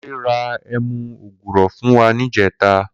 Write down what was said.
Kunle rà ẹmu ógúrọ̀ fún wà nijẹ̀tá